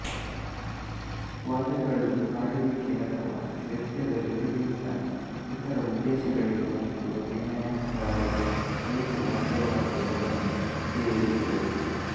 ವಾದ್ಯಗಳು ಹಾಡುವಿಕೆ ಅಥವಾ ನೃತ್ಯದ ಜೊತೆಗಿಂತ ಇತರ ಉದ್ದೇಶಗಳಿಗೆಮತ್ತು ಅಭಿನಯಗಾರರು ಏಕ ವಾದ್ಯವಾಗಿಯೂ ಅವುಗಳನ್ನು ಉಪಯೋಗಿಸಿದರು